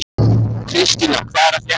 Kristína, hvað er að frétta?